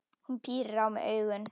Hún pírir á mig augun.